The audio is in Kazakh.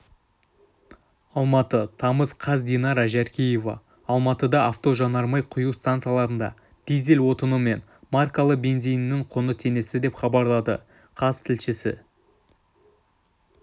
алматы тамыз қаз динара жаркеева алматыда автожанармай құю стансаларында дизель отыны мен маркалі бензинінің құны теңесті деп хабарлады қаз тілшісі